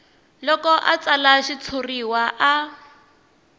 loko a tsala xitshuriwa a